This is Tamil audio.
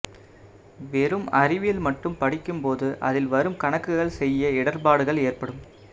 வெறும் அறிவியல் மட்டும் படிக்கும்போது அதில் வரும் கணக்குகள் செய்ய இடர்பாடுகள் ஏற்படும்